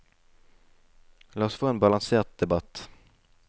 La oss få en balansert debatt.